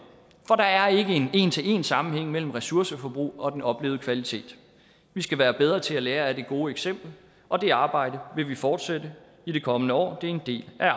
for der er ikke en en til en sammenhæng mellem ressourceforbrug og den oplevede kvalitet vi skal være bedre til at lære af det gode eksempel og det arbejde vil vi fortsætte i de kommende år det er en del af